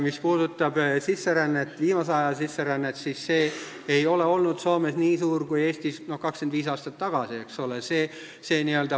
Mis puudutab sisserännet, eriti viimase aja sisserännet, siis see ei ole olnud Soomes nii suur kui Eestis 25 aastat tagasi.